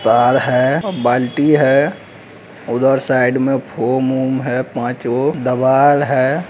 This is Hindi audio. कार है बाल्टी है उधर साइड में फोम वोम है पांच गो दवाल है।